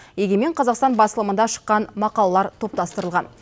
егемен қазақстан басылымында шыққан мақалалар топтастырылған